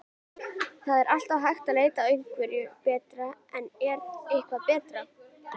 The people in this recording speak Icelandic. Það er alltaf hægt að leita að einhverju betra en er eitthvað betra?